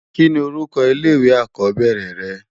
Kini órúkò ilé iwé ákòbèrè rè?